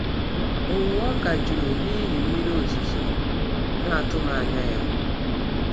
Owuwe ọka jụrụ n’ihi mmiri ozuzo na-atụghị anya.